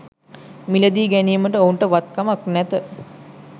මිලදී ගැනීමට ඔවුනට වත් කමක් නැත